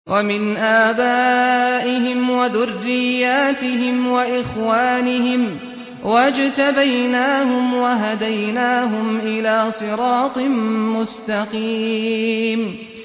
وَمِنْ آبَائِهِمْ وَذُرِّيَّاتِهِمْ وَإِخْوَانِهِمْ ۖ وَاجْتَبَيْنَاهُمْ وَهَدَيْنَاهُمْ إِلَىٰ صِرَاطٍ مُّسْتَقِيمٍ